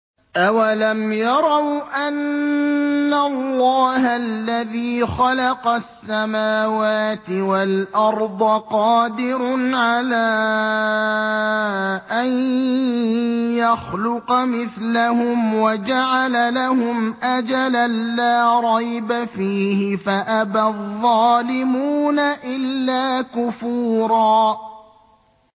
۞ أَوَلَمْ يَرَوْا أَنَّ اللَّهَ الَّذِي خَلَقَ السَّمَاوَاتِ وَالْأَرْضَ قَادِرٌ عَلَىٰ أَن يَخْلُقَ مِثْلَهُمْ وَجَعَلَ لَهُمْ أَجَلًا لَّا رَيْبَ فِيهِ فَأَبَى الظَّالِمُونَ إِلَّا كُفُورًا